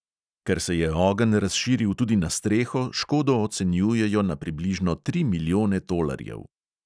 Ker se je ogenj razširil tudi na streho, škodo ocenjujejo na približno tri milijone tolarjev.